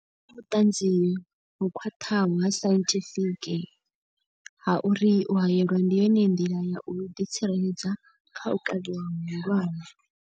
Hu na vhuṱanzi ho khwaṱhaho ha sainthifiki ha uri u haelwa ndi yone nḓila ya u ḓi tsireledza kha u kavhiwa hu hulwane.